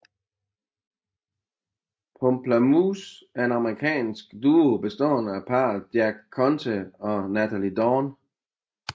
Pomplamoose er en amerikansk duo bestående af parret Jack Conte og Nataly Dawn